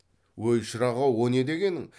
өй шырақ ау о не дегенің